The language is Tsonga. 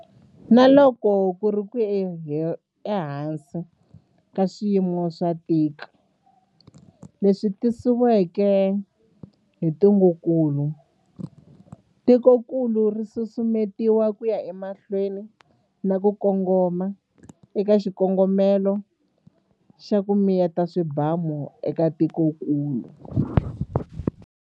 Na loko ku ri ehansi ka swiyimo swo tika leswi tisiweke hi ntungukulu, tikokulu ri susumetiwa ku ya emahlweni na ku kongoma eka xikongomelo xa 'ku miyeta swibamu' eka tikokulu.